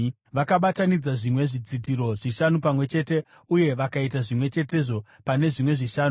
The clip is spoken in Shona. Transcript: Vakabatanidza zvimwe zvidzitiro zvishanu pamwe chete uye vakaita zvimwe chetezvo pane zvimwe zvishanu.